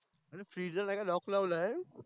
अरे Freez ला नाही का lock लावल आहे